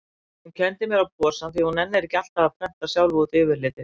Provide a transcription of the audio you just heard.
Hún kenndi mér á posann því hún nennir ekki alltaf að prenta sjálf út yfirlitið.